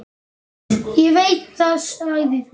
Ég veit það, sagði hún.